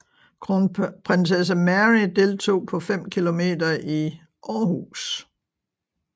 Kronprinsesse Mary deltog på 5 km i Aarhus